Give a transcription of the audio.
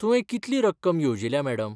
तुवें कितली रक्कम येवजिल्या, मॅडम?